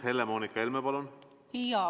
Helle-Moonika Helme, palun!